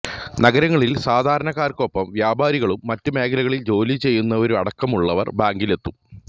നഗരങ്ങളില് സാധാരണക്കാര്ക്കൊപ്പം വ്യാപാരികളും മറ്റ് മേഖലകളില് ജോലി ചെയ്യുന്നവരുമടക്കമുള്ളവര് ബാങ്കിലെത്തും